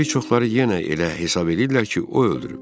Bir çoxları yenə elə hesab eləyirlər ki, o öldürüb.